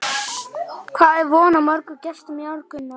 Hvað er von á mörgum gestum í ár, Gunnar?